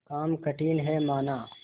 काम कठिन हैमाना